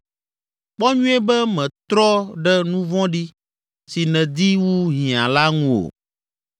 Kpɔ nyuie be mètrɔ ɖe nu vɔ̃ɖi, si nèdi wu hiã la ŋu o.